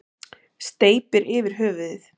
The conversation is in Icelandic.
Steypir yfir höfuðið.